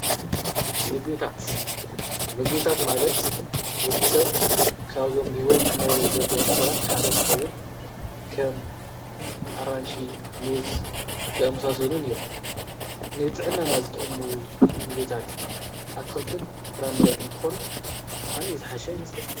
ምግብታት ምግብታት ማለት ወዲ ሰብ ካብዞም ብሕይወት ክነሩ ዘልዮም ነገራት ሓደ እንተኸውን ከም ኣራንሺ ፡ሙዝ ዝኣምሳሶንን እዮም። ንጥዕናና ዝጠሙ ዝምግብታት ኣትኽልትን ፍራምረን እንተኾኑ ኣንእዩ ዝሓሻ ይመስለኩም?